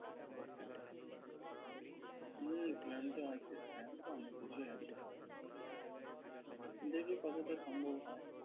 উম plan তো আছে, plan তো অনেক কিছুই আছে। দেখি কতটা সম্ভব হয়।